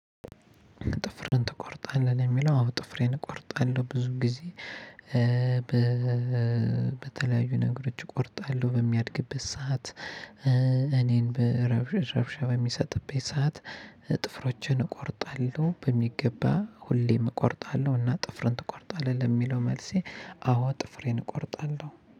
ጥፍርህን ትቆርጣለህ ለሚለው? አዎ ጥፍሬን እቆርጣለሁ ብዙ ጊዜ በተለያዩ ነገሮች እቆርጣለሁ በሚያድግበት ሰዓት ለኔም እረብሻበሚሰጥብኝ ሳዓት። ጥፍሮችን እቆርጣለሁ በሚገባ ሁሌም እቆርጣለሁ እና ጥፍርን ትቆርጣለህ ለሚለው መልሴ አዎ ጥፍሬን እቆርጣለሁ